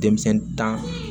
Denmisɛnnin tan